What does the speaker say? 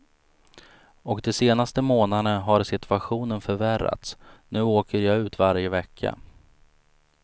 Och de senaste månaderna har situationen förvärrats, nu åker jag ut varje vecka.